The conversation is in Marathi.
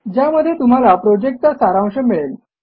ज्यामध्ये तुम्हाला प्रॉजेक्टचा सारांश मिळेल